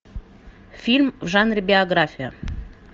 фильм в жанре биография